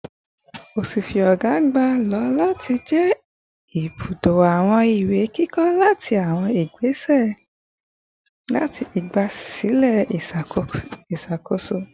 Ọfiisi ọga agba lo lati jẹ ibudo awọn iwe kikọ ati awọn igbasilẹ iṣakoso